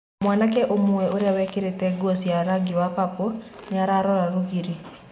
Mwanake ũmwe, ũria wikirite guo cia rangi wa papo niararora rũgiri.